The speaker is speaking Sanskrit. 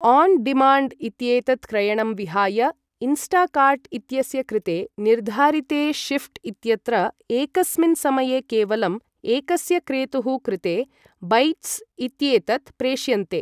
ओन् डिमाण्ड् इत्येतत् क्रयणं विहाय, इन्स्टाकार्ट् इत्यस्य कृते निर्धारिते शिफ्ट् इत्यत्र, एकस्मिन् समये केवलं एकस्य क्रेतुः कृते बैच्स् इत्येतत् प्रेष्यन्ते।